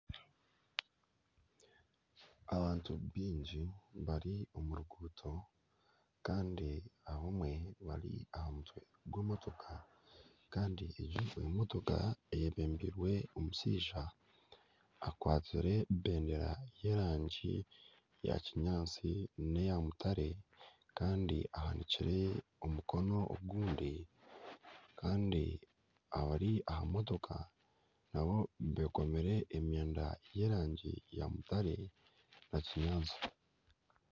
Abantu baingi bari omu ruguuto kandi abamwe bari aha mutwe gw'emotoka. Kandi egyo emotooka eyebembirwe omushaija akwatsire ebendera y'erangi ya kinyaatsi neya mutare kandi ahanikire omukono ogundi kandi abari aha motooka naabo bekomire emyenda y'erangi ya mutare na kinyaatsi.